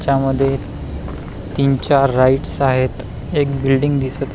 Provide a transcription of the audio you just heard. च्या मधे तीन चार राईट्स आहेत एक बिल्डींग दिसत --